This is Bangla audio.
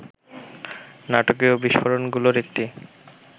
নাটকীয় বিস্ফোরণগুলোর একটি